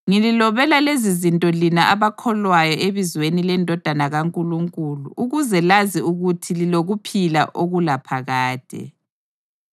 Ngililobela lezizinto lina abakholwayo ebizweni leNdodana kaNkulunkulu ukuze lazi ukuthi lilokuphila okulaphakade.